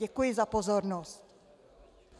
Děkuji za pozornost.